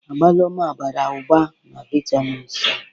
Agwalumo bara ụba na vitamịn Si.